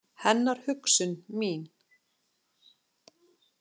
Hennar hugsun mín.